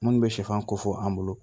Minnu bɛ sɛfan ko fɔ an bolo